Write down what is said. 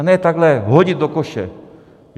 A ne takhle hodit do koše!